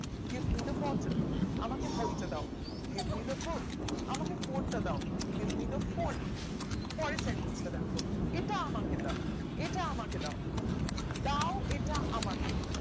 Give me the bottle আমাকে বই তা দাও Give me the book আমাকে phon টা দাও Give me the phon পরের sentence টা দেখো এটা আমাকে দাও এটা আমাকে দাও দাও এটা আমাকে